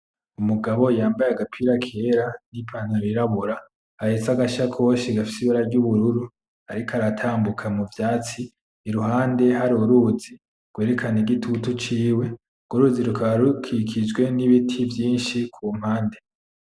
Umugabo yambaye agapira kera ni pantaro yirabura, ahetse agashakoshe gafise ibara ry'ubururu. Ariko aratambuka muvyatsi iruhande hari uru ruzi, rwerekana igitutu ciwe. Urwo ruzi rukaba rukikijwe ni biti vyinshi kumpande.